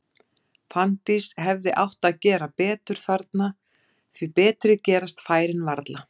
Fanndís hefði átt að gera betur þarna, því betri gerast færin varla.